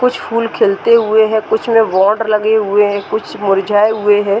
कुछ फूल खिलते हुए हैं कुछ में लगे हुए हैं कुछ मुरझाए हुए हैं।